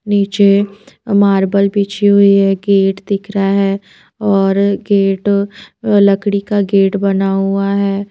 नीचे मार्बल बिछी हुई है गेट दिख रहा है और गेट लकड़ी का गेट बना हुआ है।